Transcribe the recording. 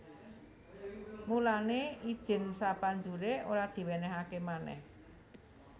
Mulané idin sapanjuré ora diwènèhaké manèh